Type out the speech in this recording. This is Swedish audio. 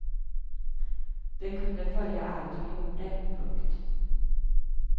De kunde följa allt hon gjorde. punkt